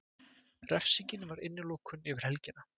Refsingin var innilokun yfir helgina.